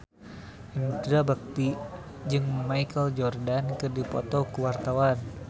Indra Bekti jeung Michael Jordan keur dipoto ku wartawan